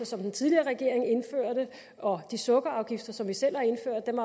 som den tidligere regering indførte og de sukkerafgifter som vi selv har indført dem